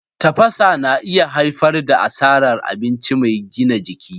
Tafasa na iya haifar da asarar abinci mai gina jiki.